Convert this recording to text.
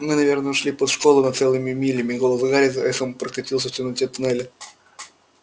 мы наверное ушли под школу на целые мили голос гарри эхом прокатился в темноте тоннеля